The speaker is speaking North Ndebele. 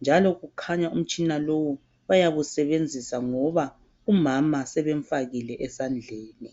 njalo kukhanya umtshina lowu oyabe usebnzisa noma umama sebemfakile esandleni